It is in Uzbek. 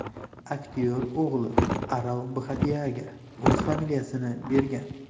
Aktyor o‘g‘li Arav Bhatiyaga o‘z familiyasini bergan.